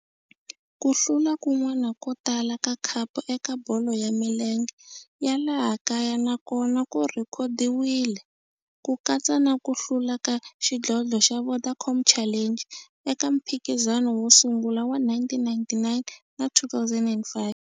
Ku hlula kun'wana ko tala ka khapu eka bolo ya milenge ya laha kaya na kona ku rhekhodiwile, ku katsa na ku hlula ka xidlodlo xa Vodacom Challenge eka mphikizano wo sungula wa 1999 na 2005.